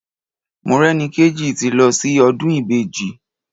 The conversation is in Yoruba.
Morẹ́nikéjì ti lọ sí ọdún Ìbejì.